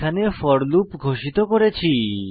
এখানে for loop ঘোষিত করেছি